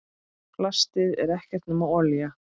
Plastið er ekkert nema olía.